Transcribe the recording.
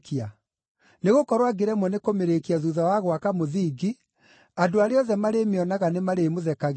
Nĩgũkorwo angĩremwo nĩ kũmĩrĩkia thuutha wa gwaka mũthingi, andũ arĩa othe marĩmĩonaga nĩmarĩmũthekagĩrĩra,